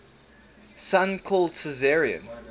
son called caesarion